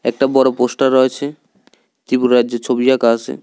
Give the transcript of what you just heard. একটা বড় পোস্টার রয়েছে ত্রিপুরা রাজ্যের ছবি আঁকা আসে।